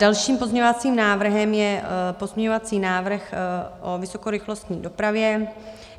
Dalším pozměňovacím návrhem je pozměňovací návrh o vysokorychlostní dopravě.